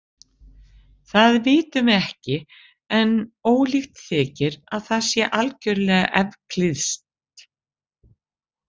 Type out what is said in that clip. Það vitum við ekki en ólíklegt þykir að það sé algjörlega evklíðskt.